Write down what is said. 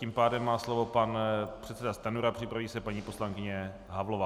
Tím pádem má slovo pan předseda Stanjura, připraví se paní poslankyně Havlová.